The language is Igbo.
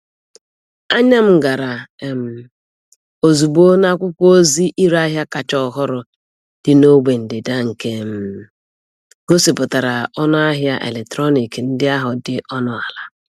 Anya m gara um ozugbo n'akwụkwọ ozi ireahịa kacha ọhụrụ dị n'ogbe ndịda nke um gosipụtara ọnụ ahịa eletrọnịkị ndị ahụ dị ọnụ ala.